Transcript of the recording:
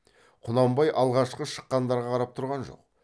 құнанбай алғашқы шыққандарға қарап тұрған жоқ